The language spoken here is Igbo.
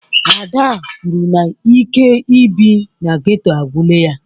Ada kwuru na ike ị bi n'geto agwụla ya